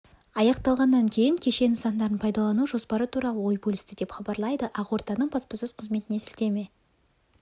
аяқталғаннан кейін кешен нысандарын пайдалану жоспары туралы ой бөлісті деп хабарлайды ақорданың баспасөз қызметіне сілтеме